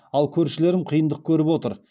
ал көршілерім қиындық көріп отыр